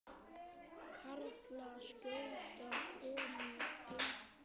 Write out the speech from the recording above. Karlar skjóta, konur eitra.